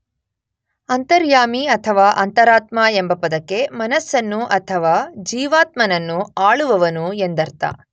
ಅಂತರ್ಯಾಮಿ ಅಥವಾ ಅಂತರಾತ್ಮ ಎಂಬ ಪದಕ್ಕೆ ಮನಸ್ಸನ್ನು ಅಥವಾ ಜೀವಾತ್ಮನನ್ನು ಆಳುವವನು ಎಂದರ್ಥ.